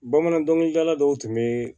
Bamanan dɔnkilidala dɔw tun bɛ